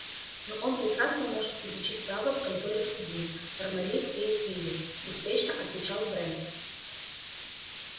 ну он прекрасно может изучить право в конторе судьи пармали в фейетвилле беспечно отвечал брент